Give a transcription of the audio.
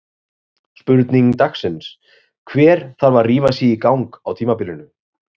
Spurning dagsins: Hver þarf að rífa sig í gang á tímabilinu?